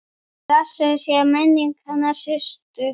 Blessuð sé minning hennar Systu.